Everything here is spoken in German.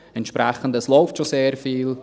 Entsprechend läuft schon sehr viel.